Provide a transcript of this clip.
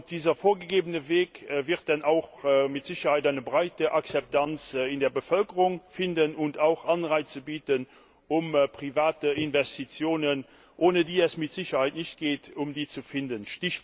Dieser vorgegebene Weg wird dann auch mit Sicherheit eine breite Akzeptanz in der Bevölkerung finden und auch Anreize bieten, um private Investitionen, ohne die es mit Sicherheit nicht geht, zu finden.